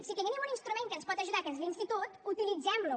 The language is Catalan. si tenim un instrument que ens pot ajudar que és l’institut utilitzem lo